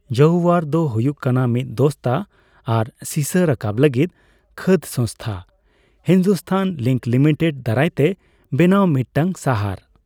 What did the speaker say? ᱡᱟᱣᱭᱟᱨ ᱫᱚ ᱦᱩᱭᱩᱜ ᱠᱟᱱᱟ ᱢᱤᱫ ᱫᱚᱥᱛᱟ ᱟᱨ ᱥᱤᱥᱟ ᱨᱟᱠᱟᱵ ᱞᱟᱹᱜᱤᱫ ᱠᱷᱟᱹᱫ ᱥᱚᱝᱚᱥᱛᱷᱟ ᱦᱤᱱᱫᱩᱥᱛᱷᱟᱱ ᱡᱤᱝᱠ ᱞᱤᱢᱤᱴᱮᱰ ᱫᱟᱨᱟᱭᱛᱮ ᱵᱮᱱᱟᱣ ᱢᱤᱫᱴᱟᱝ ᱥᱟᱦᱟᱨ ᱾